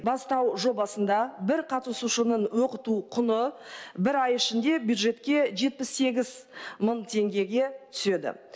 бастау жобасында бір қатысушының оқыту құны бір ай ішінде бюджетке жетпіс сегіз мың теңгеге түседі